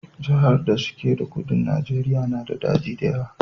Jahar da su ke kudun Najeriya na da daji da yawa